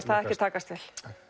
það ekkert takast vel